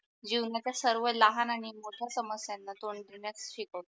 जीवनाच्या सर्व लहान आणि मोठ्या समस्याना तोंड देण्यात शिकवते.